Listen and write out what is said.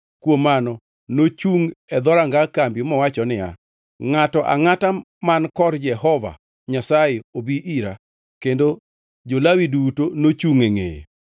Kuom mano nochungʼ e dhoranga kambi mowacho niya, “Ngʼato angʼata man kor Jehova Nyasaye obi ira.” Kendo jo-Lawi duto nochungʼ e ngʼeye.